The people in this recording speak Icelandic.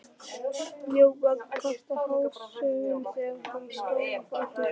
Mjóbakið kvartaði hástöfum þegar hann stóð á fætur.